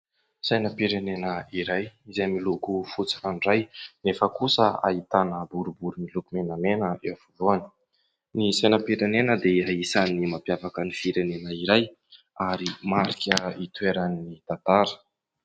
Sainam-pirenena iray izay miloko fotsy fandray nefa kosa ahitana boribory miloko menamena eo afovoany, ny sainam-pirenena dia anisany mampiavaka ny firenena iray ary marika hitoeran'ny tantara.